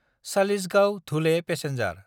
चालिसगांव–धुले passenger